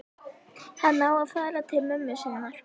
Hann á að fara til mömmu sinnar.